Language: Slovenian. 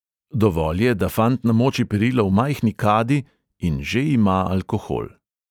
Dovolj je, da fant namoči perilo v majhni kadi, in že ima alkohol.